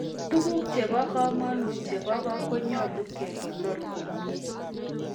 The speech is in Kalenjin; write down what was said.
Tuguuk chebo komonut chebo ko konyolu kekonor komye